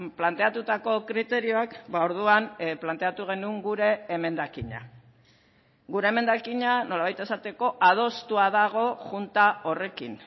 planteatutako kriterioak orduan planteatu genuen gure emendakina gure emendakina nolabait esateko adostua dago junta horrekin